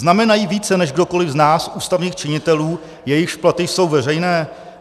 Znamenají více než kdokoli z nás, ústavních činitelů, jejichž platy jsou veřejné?